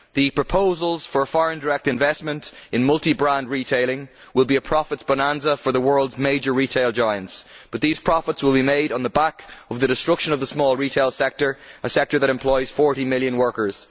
The proposals for foreign direct investment in multi brand retailing will be a profits bonanza for the world's major retail giants, but these profits will be made on the back of the destruction of the small retail sector, a sector that employs 40 million workers.